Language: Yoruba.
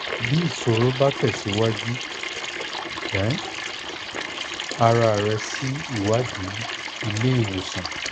ti iṣoro ba tẹsiwaju gba um ara rẹ si iwadii ile-iwosan